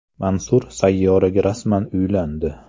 Mansur Sayyoraga rasman uylandi.